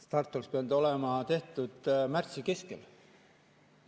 Start oleks pidanud olema tehtud märtsi keskel.